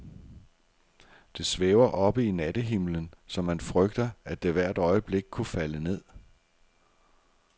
Det svæver oppe i nattehimlen, så man frygter, at det hvert øjeblik kunne falde ned.